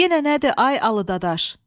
Yenə nədir, ay Alı dadaş?